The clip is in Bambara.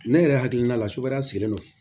Ne yɛrɛ hakilina la sukaroya sigilen don